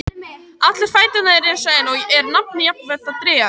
Allir fæturnir eru eins, og er nafnið jafnfætla dregið af því.